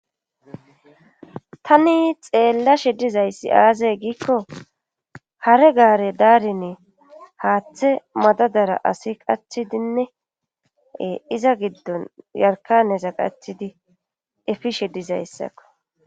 tani xeella shedizayssi aazay giikko hare gaare daarine haaththe madadara asi qachidinnee iza giddon yarkanesa qachidi efishedizayssakko